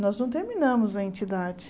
Nós não terminamos a entidade.